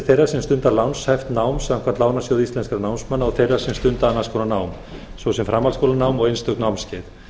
þeirra sem stunda lánshæft nám samkvæmt lánasjóði íslenskra námsmanna og þeirra sem stunda annars konar nám svo sem framhaldsskólanám og einstök námskeið